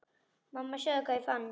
Mamma sjáðu hvað ég fann!